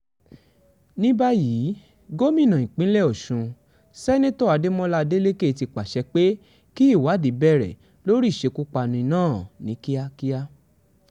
ní báyìí gómìnà ìpínlẹ̀ ọ̀sùn seneto adémọlá adeleke ti pàṣẹ pé kí ìwádìí bẹ̀rẹ̀ lórí ìṣekúpani náà ní kíákíá